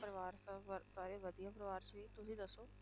ਪਰਿਵਾਰ ਸਭ ਵ~ ਸਾਰੇ ਵਧੀਆ ਪਰਿਵਾਰ 'ਚ ਵੀ ਤੁਸੀਂ ਦੱਸੋ।